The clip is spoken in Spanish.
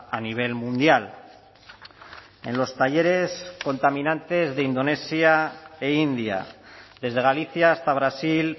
a nivel mundial en los talleres contaminantes de indonesia e india desde galicia hasta brasil